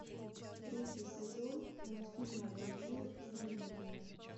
третий сезон мультфильма благие знамения